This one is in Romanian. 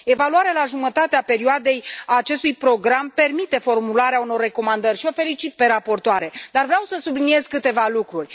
Evaluarea la jumătatea perioadei a acestui program permite formularea unor recomandări și o felicit pe raportoare, dar vreau să subliniez câteva lucruri.